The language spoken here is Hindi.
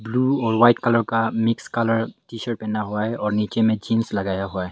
ब्लू और व्हाइट कलर का मिक्स कलर टी शर्ट पहना हुआ है और नीचे में जींस लगाया हुआ है।